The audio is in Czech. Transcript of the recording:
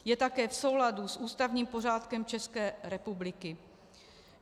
Je také v souladu s ústavním pořádkem České republiky.